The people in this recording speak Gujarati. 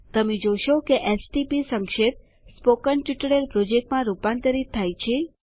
તમે જોશો કે એસટીપી સંક્ષેપ સ્પોકન ટ્યુટોરિયલ પ્રોજેક્ટ માં રૂપાંતરિત થાય છે